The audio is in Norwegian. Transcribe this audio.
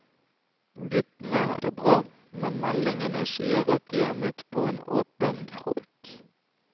Guttene har det bra, men meldingene sier at de har møtt på en åpen råk.